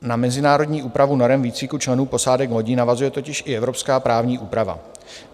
Na mezinárodní úpravu norem výcviku členů posádek lodí navazuje totiž i evropská právní úprava.